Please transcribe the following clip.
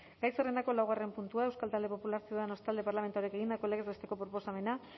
gai zerrendako laugarren puntua euskal talde popularra ciudadanos talde parlamentarioak egindako legez besteko proposamena